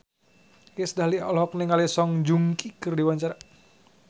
Iis Dahlia olohok ningali Song Joong Ki keur diwawancara